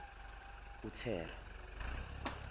uthera